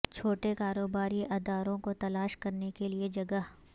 چھوٹے کاروباری اداروں کو تلاش کرنے کے لئے جگہ